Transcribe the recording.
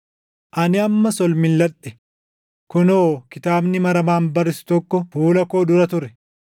Ani ammas ol milʼadhe; kunoo kitaabni maramaan barrisu tokko fuula koo dura ture!